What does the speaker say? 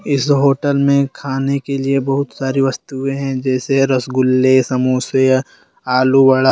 इस होटल में खाने के लिए बहुत सारी वस्तुएं है जैसे रागुल्ले समोसे आलू बड़ा--